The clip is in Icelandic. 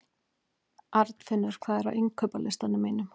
Arnfinnur, hvað er á innkaupalistanum mínum?